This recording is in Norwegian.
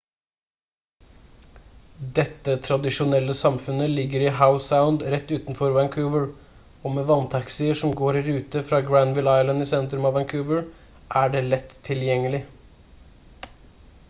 dette tradisjonelle samfunnet ligger i howe sound rett utenfor vancouver og med vanntaxier som går i rute fra granville island i sentrum av vancouver er det lett tilgjengelig